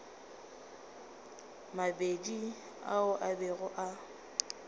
mabedi ao a bego a